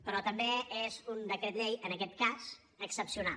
però també és un decret llei en aquest cas excepcional